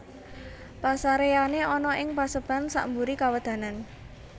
Pasareyane ana ing paseban sakmburi kawedanan